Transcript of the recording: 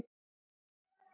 Segi ekki annað.